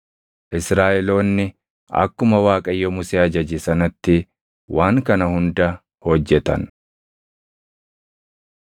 Israaʼeloonni akkuma Waaqayyo Musee ajaje sanatti waan kana hunda hojjetan.